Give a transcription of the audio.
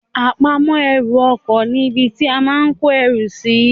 Àpamọ́ ẹrù ọkọ ní ibi tí a máa kó erù sì